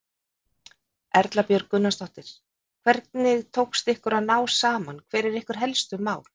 Erla Björg Gunnarsdóttir: Hvernig tókst ykkur að ná saman, hver eru ykkar helstu mál?